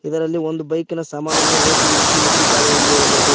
ಇದರಲ್ಲಿ ಒಂದು ಬೈಕಿನ ಸಾಮಾನನ್ನು ಹೊಸು ಹುಚ್ಚಿ ಇಟ್ಟಿದ್ದಾರೆ ಎಂದು ಹೇಳಬಹುದು.